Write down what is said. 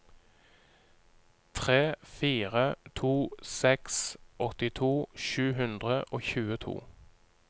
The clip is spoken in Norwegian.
tre fire to seks åttito sju hundre og tjueto